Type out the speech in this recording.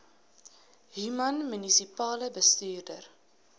human munisipale bestuurder